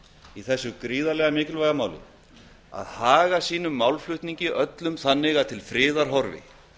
í þessu gríðarlega mikilvæga máli að haga sínum málflutningi þannig að til friðar horfi